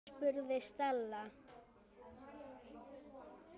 spurði Stella.